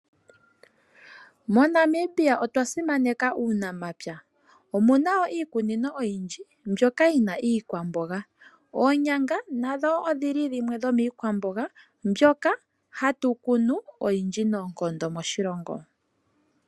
Mo Namibia otwa simaneka uunamapya, omuna wo iikunino oyindji mbyoka yi na iikwamboga. Oonyanga nadho odhili dhimwe dhomiikwamboga mbyoka hatu kunu oyindji noonkondo moshilongo.